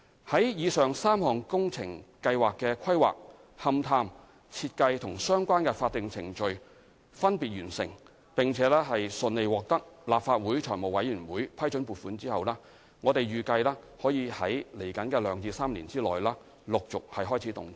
在以上3項工程計劃的規劃、勘探、設計和相關法定程序分別完成，並順利獲得立法會財務委員會批准撥款後，預計可於兩至3年內起陸續開始動工。